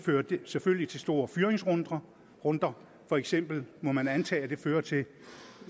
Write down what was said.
selvfølgelig føre til store fyringsrunder for eksempel må man antage at det fører til